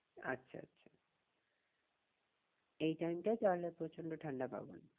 আচ্ছা আচ্ছা এই time টায় তাহলে প্রচন্ড ঠান্ডা পাবো না?